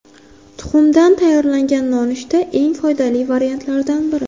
Tuxumdan tayyorlangan nonushta eng foydali variantlardan biri.